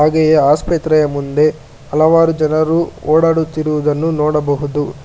ಈ ಆಸ್ಪತ್ರೆಯ ಮುಂದೆ ಹಲವಾರು ಜನರು ಓಡಾಡುತ್ತಿರುವುದನ್ನು ನೋಡಬಹುದು.